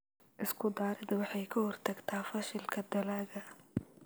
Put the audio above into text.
Isku-daridda waxay ka hortagtaa fashilka dalagga.